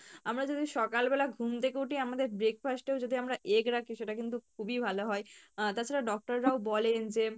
আমরা যদি সকাল বেলা ঘুম থেকে উঠি আমাদের breakfast এও যদি আমরা egg রাখি সেটা কিন্তু খুবই ভালো হয় আহ তাছাড়া doctor রাও বলেন যে